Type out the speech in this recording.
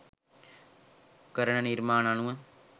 කරන නිර්මාණ අනුව.